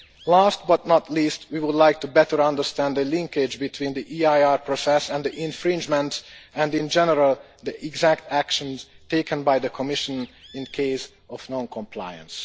Last but not least, we would like to better understand the linkage between the EIR process and the infringements and, in general, the exact actions taken by the Commission in the event of non compliance.